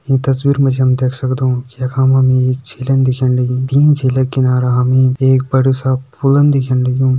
ईं तस्वीर मा जी हम देख सगदों कि यखा मा हमि एक झीलन दिखेण लगीं तीं झीलक किनारा हमि एक बड़ु सा फूलन दिखेण लग्युं।